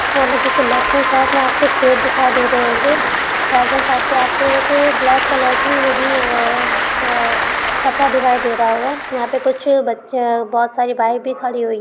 यहाँ पर left hand side मे कुछ पेड़ दिखाई दे रहे होंगे। राइट हैन्ड साइड मे आप को एक ब्लैक कलर की हुडी अ छपरा दिखाई दे रहा होगा। यहाँ कुछ बच्चे बहुत सारी बाइक भी खड़ी हुई--